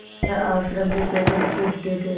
वह आश्रम में पैदल घूमते थे